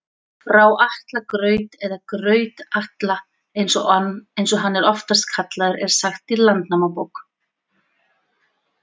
Frá Atla graut, eða Graut-Atla eins og hann er oftast kallaður, er sagt í Landnámabók.